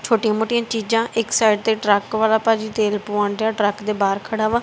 ਛੋਟੀਆਂ ਮੋਟੀਆਂ ਚੀਜ਼ਾਂ ਇੱਕ ਸਾਈਡ ਤੇ ਟਰੱਕ ਵਾਲਾ ਭਾਜੀ ਤੇਲ ਪਵਾ ਰਿਹਾ ਟਰੱਕ ਦੇ ਬਾਹਰ ਖੜਾ ਹੈ।